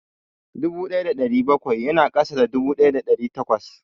Dubu ɗaya da ɗari bakwai ya na ƙasa da dubu ɗaya da ɗari takwas